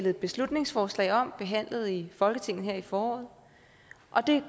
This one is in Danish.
et beslutningsforslag om behandlet i folketinget her i foråret og det